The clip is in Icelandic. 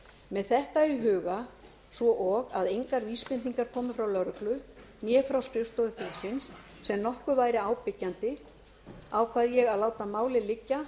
með þetta í huga svo og að engar vísbendingar komu frá lögreglu né frá skrifstofu þingsins sem nokkuð væri á byggjandi ákvað ég að láta málið liggja